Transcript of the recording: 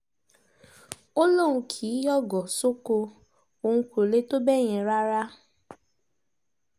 ó lóun kì í yọ̀gọ̀ sóko òun kó lè tó bẹ́ẹ̀ yẹn rárá